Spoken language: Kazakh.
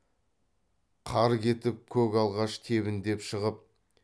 қар кетіп көк алғаш тебіндеп шығып